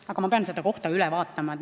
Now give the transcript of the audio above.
Aga ma pean selle koha üle vaatama.